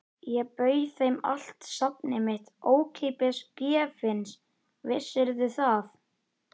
Ég bauð þeim allt safnið mitt, ókeypis, gefins, vissirðu það?